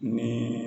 Ni